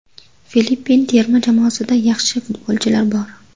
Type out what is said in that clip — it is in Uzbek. Filippin terma jamoasida yaxshi futbolchilar bor.